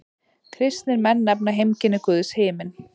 Kristnir menn nefna heimkynni Guðs himin.